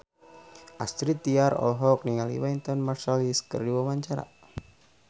Astrid Tiar olohok ningali Wynton Marsalis keur diwawancara